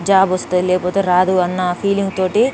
Job వస్తే లేకపోతే రాదు అన్న ఫీలింగ్ తోటి --.